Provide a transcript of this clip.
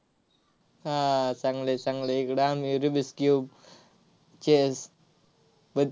हा, चांगलं आहे, चांगलं आहे. इकडं आम्ही rubik's cube chess